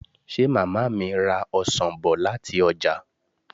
Ṣé màmá mi ra ọsàn bọ̀ láti ọjà?